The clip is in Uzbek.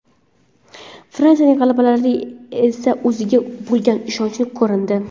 Fransiyaning g‘alabalarida esa o‘ziga bo‘lgan ishonch ko‘rindi.